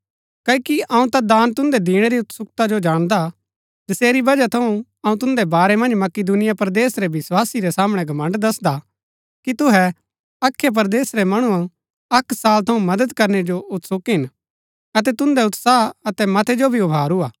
क्ओकि अऊँ दान तुन्दै दिणै री उत्सुकता जो जाणदा हा जसेरी वजह थऊँ अऊँ तुन्दै बारै मन्ज मकिदुनिया परदेस रै विस्वासी रै सामणै घमण्ड़ दसदा कि तुहै अखया परदेस रै मणु अक्क साल थऊँ मदद करनै जो उत्सुक हिन अतै तुन्दै उत्साह अतै मतै जो भी उभारू हा